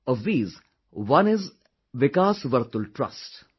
Of these one is Vikas Vartul Trust